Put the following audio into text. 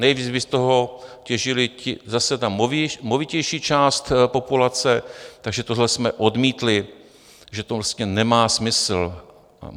Nejdřív by z toho těžila zase ta movitější část populace, takže tohle jsme odmítli, že to vlastně nemá smysl.